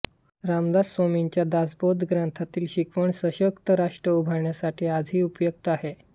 रामदास स्वामींच्या दासबोध ग्रंथातील शिकवण सशक्त राष्ट्र उभारणीसाठी आजही उपयुक्त आहे